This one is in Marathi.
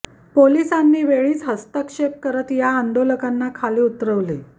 पोलिसांनी वेळीच हस्तक्षेप करत या आंदोलकांना खाली उतरवले